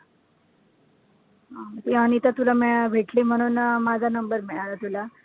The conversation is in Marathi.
हा ती अनिता तुला मि भेटली म्हणून अं माझा number मिळाला तुला